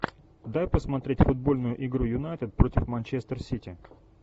дай посмотреть футбольную игру юнайтед против манчестер сити